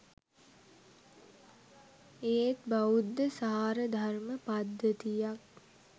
ඒත් බෞද්ධ සාරධර්ම පද්ධතියක්